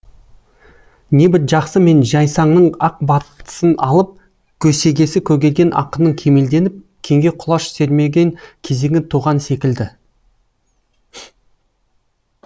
небір жақсы мен жайсаңның ақ батысын алып көсегесі көгерген ақынның кемелденіп кеңге құлаш сермеген кезеңі туған секілді